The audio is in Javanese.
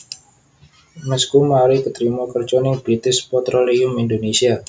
Masku mari ketrima kerjo nang British Petroleum Indonesia